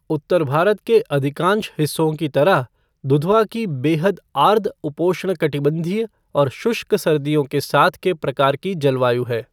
उत्तर भारत के अधिकांश हिस्सों की तरह, दुधवा की बेहद आर्द्र उपोष्णकटिबंधीय और शुष्क सर्दियों के साथ के प्रकार की जलवायु है।